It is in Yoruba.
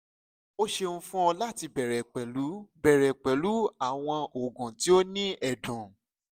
o ṣeun fun ọ lati bẹrẹ pẹlu bẹrẹ pẹlu awọn oogun ti o ni ẹdun